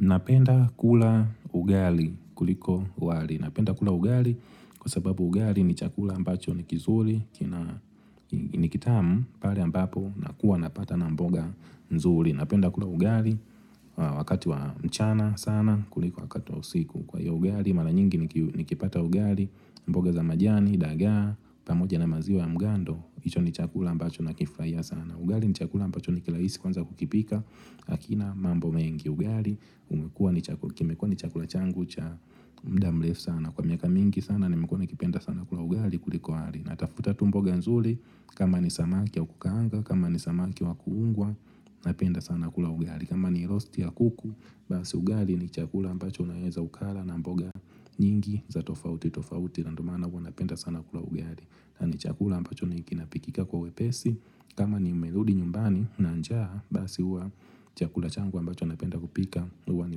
Napenda kula ugali kuliko wali. Napenda kula ugali kwa sababu ugali ni chakula ambacho ni kizuri, ni kitamu pale ambapo nakuwa napata na mboga nzuri. Napenda kula ugali wakati wa mchana sana kuliko wakati wa usiku. Kwa hiyo ugali mara nyingi nikipata ugali mboga za majani, dagaa, pamoja na maziwa ya mgando hicho ni chakula ambacho na kifurahia sana ugali ni chakula ambacho ni kirahisi kuanza kukipika Hakina mambo mengi ugali umekua kimekua ni chakula changu cha muda mrefu sana Kwa miaka mingi sana nimekua nikipenda sana kula ugali kuliko wali Natafuta tu mboga nzuri kama ni samaki wa kukaanga, kama ni samaki wa kuungwa Napenda sana kula ugali kama ni rosti ya kuku, basi ugali ni chakula ambacho naeza ukala na mboga nyingi za tofauti tofauti na ndo maana kwa napenda sana kula ugali na ni chakula ambacho kinapikika kwa wepesi kama nimerudi nyumbani na njaa, basi huwa chakula changu ambacho napenda kupika huwa ni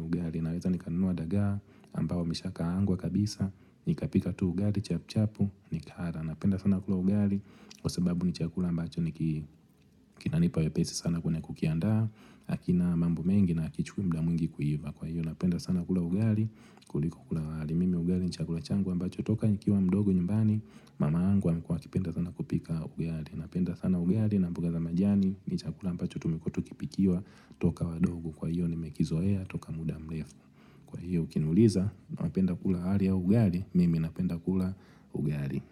ugali Naweza nikanunua dagaa ambao wameshakaangwa kabisa Nikapika tu ugali, chap chapu, nikala napenda sana kula ugali Kwa sababu ni chakula ambacho ni kinanipa wepesi sana kwenye kukianda Hakina mambo mengi na hakichukui muda mwingi kuiva Kwa hiyo napenda sana kula ugali kuliko kula wali mimi ugali ni chakula changu ambacho toka Nikiwa mdogo nyumbani Mama yangu amekua akipenda sana kupika ugali Napenda sana ugali na mboga za majani ni chakula ambacho tumekuwa tukipikiwa toka wadogo kwa hiyo nimekizoea toka muda murefu Kwa hiyo ukiniuliza Napenda kula wali ya ugali Mimi napenda kula ugali.